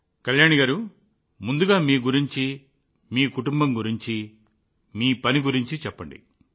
కళ్యాణి గారూ ముందుగా మీ గురించి మీ కుటుంబం గురించి మీ పని గురించి చెప్పండి